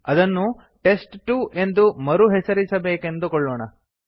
ಅದನ್ನೂ ಟೆಸ್ಟ್2 ಎಂದು ಮರುಹೆಸರಿಸಬೇಕೆಂದುಕೊಳ್ಳೋಣ